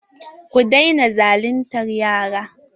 Ku daina zaluntar yara!